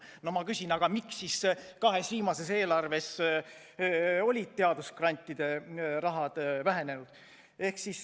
No ma küsin: miks siis kahes viimases eelarves olid teadusgrantide summad vähenenud?